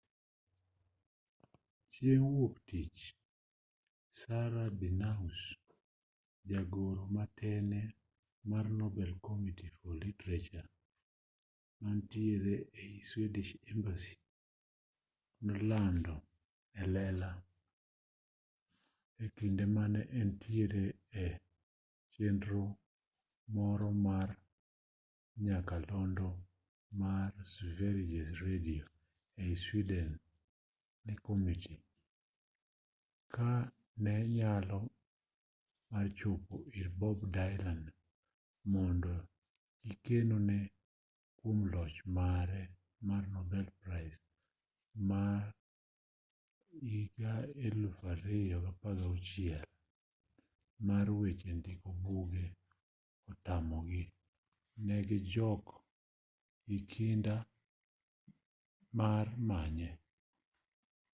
chieng' wuoktich sara danius jagoro ma tene mar nobel committee for literature manitiere ei swedish academy nolando e lela e kinde mane entiere e chenro moro mar nyakalondo mar sveriges radio ei sweden ni komiti ka ne nyalo mar chopo ir bob dylan mondo gikone kwom loch mare mar nobel prize ma 2016 mar weche ndiko buge otamogi ne gijok gi kinda mar manye